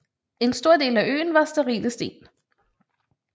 En stor del af øen var sterile sten